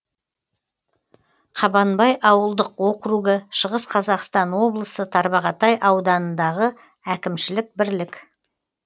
қабанбай ауылдық округі шығыс қазақстан облысы тарбағатай ауданындағы әкімшілік бірлік